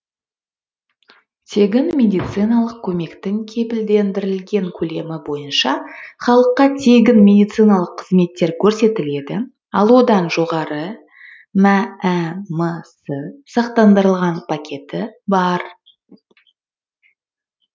тегін медициналық көмектің кепілдендірілген көлемі бойынша халыққа тегін медициналық қызметтер көрсетіледі ал одан жоғары мәмс сақтандырылған пакеті бар